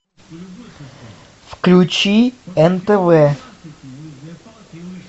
включи нтв